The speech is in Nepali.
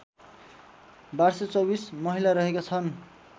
१२२४ महिला रहेका छन्